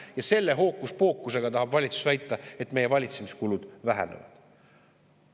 Ja selle hookuspookusega tahab valitsus väita, et meie valitsemiskulud vähenevad.